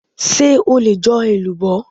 Ṣé o lè jo elubo?